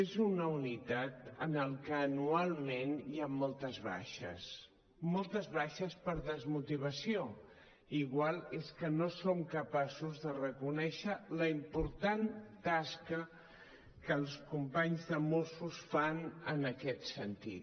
és una unitat en la qual anualment hi han moltes baixes moltes baixes per desmotivació i potser és que no som capaços de reconèixer la important tasca que els companys de mossos fan en aquest sentit